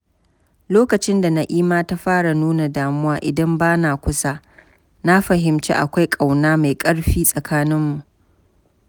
lokacin da Na'ima ta fara nuna damuwa idan bana kusa, na fahimci akwai ƙauna mai ƙarfi tsakaninmu.